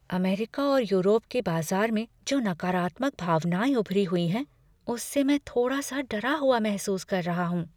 America और Europe के बाजार में जो नकारात्मक भावनाएँ उभरी हुई हैं उससे मैं थोड़ा सा डरा हुआ महसूस कर रहा हूँ।